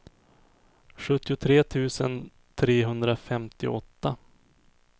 sjuttiotre tusen trehundrafemtioåtta